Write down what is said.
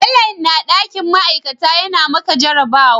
Bello yana dakin ma'aikata yana maka jarabawa